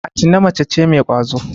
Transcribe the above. Atine mace ce mai ƙwazo.